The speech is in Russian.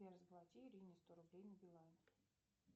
сбер заплати ирине сто рублей на билайн